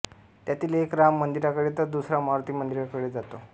त्यातील एक राम मंदिराकडे तर दुसरा मारूती मंदिराकडे जातो